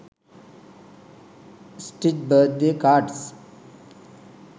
stitch birthday cards